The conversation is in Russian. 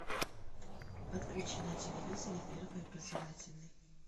подключи на телевизоре первый образовательный